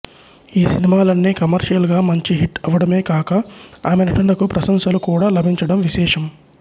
ఈ సినిమాలన్నీ కమర్షియల్ గా మంచి హిట్ అవడమే కాక ఆమె నటనకు ప్రశంసలు కూడా లభించడం విశేషం